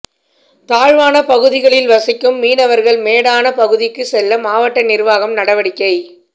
தாழ்வான பகுதிகளில் வசிக்கும் மீனவர்கள் மேடான பகுதிகளுக்கு செல்ல மாவட்ட நிர்வாகம் நடவடிக்கை